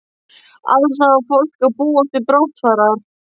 Alls staðar var fólk að búast til brottfarar.